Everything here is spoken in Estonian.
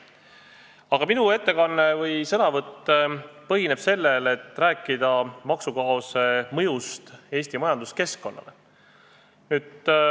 Aga minu ettekanne või sõnavõtt räägib maksukaose mõjust Eesti majanduskeskkonnale.